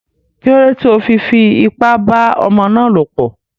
Kílódé tí o fi fi ipá bá ọmọ ná lọ̀ pọ̀?